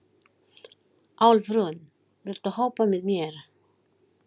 Álfrún, viltu hoppa með mér?